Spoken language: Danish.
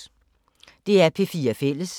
DR P4 Fælles